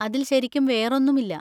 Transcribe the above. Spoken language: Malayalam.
അതിൽ ശരിക്കും വേറൊന്നുമില്ല.